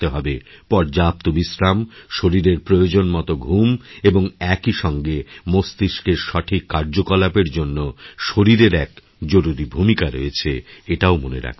পর্যাপ্তবিশ্রাম শরীরের প্রয়োজন মতো ঘুম এবং একই সঙ্গে মস্তিষ্কের সঠিক কার্যকলাপের জন্যশরীরের এক জরুরি ভূমিকা রয়েছে এটাও মনে রাখতে হবে